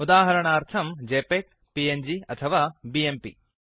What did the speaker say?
उदाहरणार्थम् JPEG PNG अथवा BMP